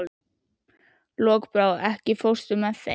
Lokbrá, ekki fórstu með þeim?